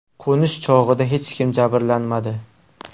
Qo‘nish chog‘ida hech kim jabrlanmadi.